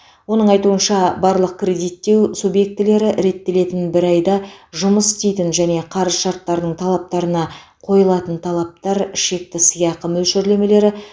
оның айтуынша барлық кредиттеу субъектілері реттелетін бір айда жұмыс істейтін және қарыз шарттарының талаптарына қойылатын талаптар шекті сыйақы мөлшерлемелері